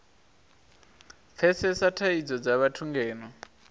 pfesesa thadzo dza vhathu ngeno